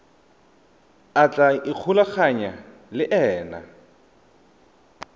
a tla ikgolaganyang le ena